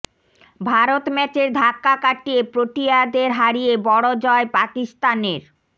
ভারত ম্যাচের ধাক্কা কাটিয়ে প্রোটিয়াদের হারিয়ে বড় জয় পাকিস্তানের